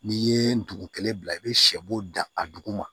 N'i ye dugu kelen bila i bɛ sɛ bo dan a duguma